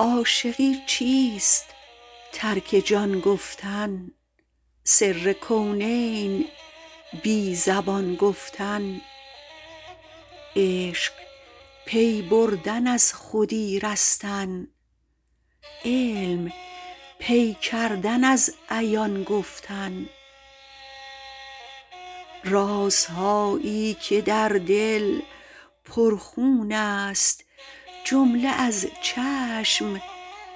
عاشقی چیست ترک جان گفتن سر کونین بی زبان گفتن عشق پی بردن از خودی رستن علم پی کردن از عیان گفتن رازهایی که در دل پر خون است جمله از چشم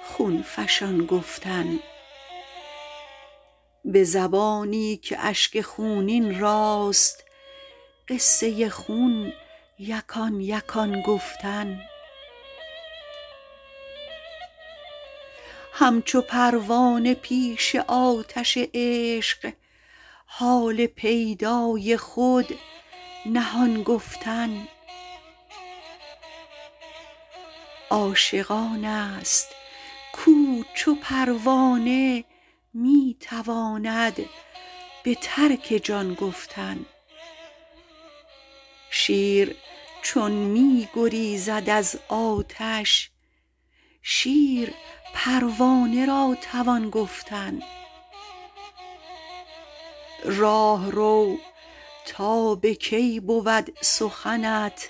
خون فشان گفتن به زبانی که اشک خونین راست قصه خون یکان یکان گفتن همچو پروانه پیش آتش عشق حال پیدای خود نهان گفتن عاشق آن است کو چو پروانه می تواند به ترک جان گفتن شیر چون می گریزد از آتش شیر پروانه را توان گفتن راهرو تا به کی بود سخنت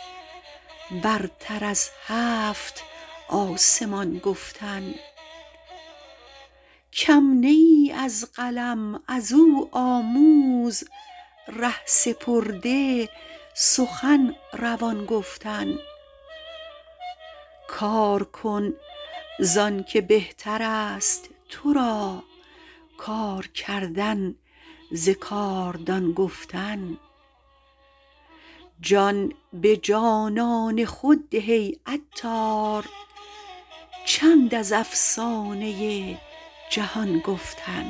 برتر از هفت آسمان گفتن کم نه ای از قلم ازو آموز ره سپرده سخن روان گفتن کار کن زانکه بهتر است تو را کار کردن ز کاردان گفتن جان به جانان خود ده ای عطار چند از افسانه جهان گفتن